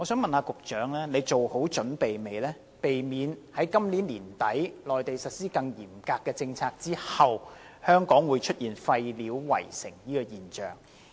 請問局長是否已作好準備，避免香港在今年年底內地實施更嚴格的政策後出現廢料圍城的現象？